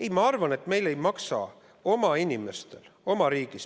Ei, ma arvan, et meil ei maksa oma inimestel, oma riigis ...